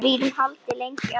Við gætum haldið lengi áfram.